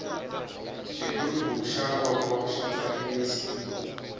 xighubu xa voko xa tsakisa